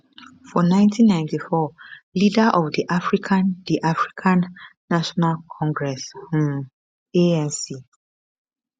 for 1994 leader of di african di african national congress um anc